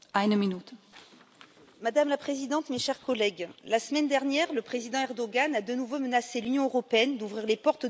Madame la Présidente, mes chers collègues, la semaine dernière le président Erdogan a de nouveau menacé l'Union européenne d'ouvrir les portes de l'émigration vers l'Europe.